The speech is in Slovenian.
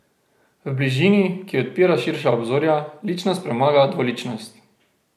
V bližini, ki odpira širša obzorja, ličnost premaga dvoličnosti.